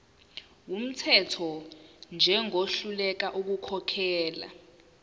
wumthetho njengohluleka ukukhokhela